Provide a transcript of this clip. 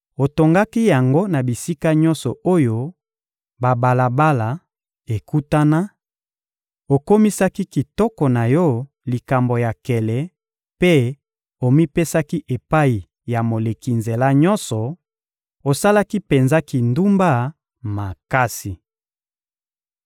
otongaki yango na bisika nyonso oyo babalabala ekutana, okomisaki kitoko na yo likambo ya nkele mpe omipesaki epai ya moleki nzela nyonso: osalaki penza kindumba makasi.